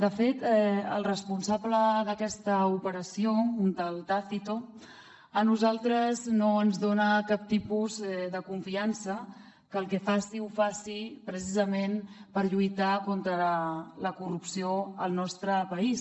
de fet el responsable d’aquesta operació un tal tácito a nosaltres no ens dona cap tipus de confiança que el que faci ho faci precisament per lluitar contra la corrupció al nostre país